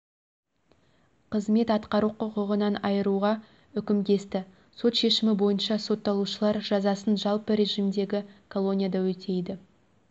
қызмет атқару құқығынан айыруға үкім кесті сот шешімі бойынша сотталушылар жазасын жалпы режидегі колонияда өтейді